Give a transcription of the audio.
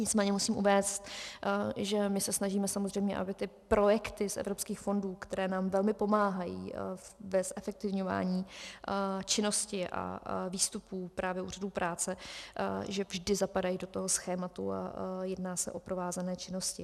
Nicméně musím uvést, že my se snažíme samozřejmě, aby ty projekty z evropských fondů, které nám velmi pomáhají v zefektivňování činnosti a výstupů právě úřadů práce, že vždy zapadají do toho schématu a jedná se o provázané činnosti.